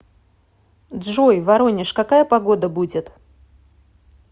джой воронеж какая погода будет